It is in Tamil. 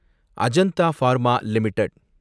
Ajanta pharma limited